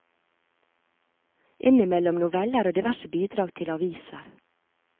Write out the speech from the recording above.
Innimellom noveller og diverse bidrag til aviser.